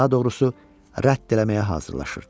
Daha doğrusu, rədd eləməyə hazırlaşırdı.